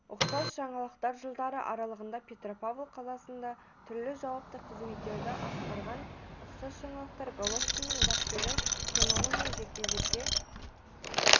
ұқсас жаңалықтар жылдары аралығында петропавл қаласында түрлі жауапты қызметтерді атқарған ұқсас жаңалықтар головкиннің бапкері канеломен жекпе-жекке